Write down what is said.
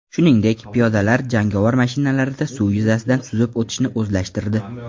Shuningdek, piyodalar jangovar mashinalarida suv yuzasida suzib o‘tishni o‘zlashtirdi.